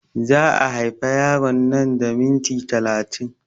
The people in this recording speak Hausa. Za a haifa yaron nan da minti talatin